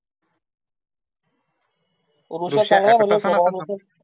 वृष्य शनवार ए ना शनवार नसलं